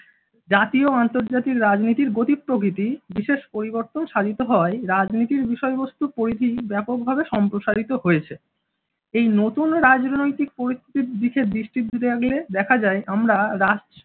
জাতী ও আন্তর্জাতিক রাজনীতির গতি-প্রকৃতি বিশেষ পরিবর্তন সাধিত হয় রাজনীতির বিষয়বস্তু পরিধি ব্যাপকভাবে সম্প্রসারিত হয়েছে। এই নতুন রাজনৈতিক পরিস্থিতির দিকে দেখা যায় আমরা রাজ